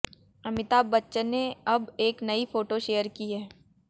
अमिताभ बच्चन ने अब एक नई फोटो शेयर की है